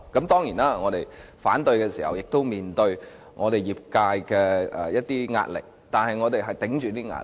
當然，在我們反對時，亦須面對我們業界的壓力，但我們頂着這些壓力。